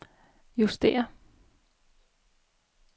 justér